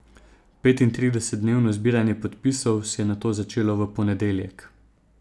Petintridesetdnevno zbiranje podpisov se je nato začelo v ponedeljek.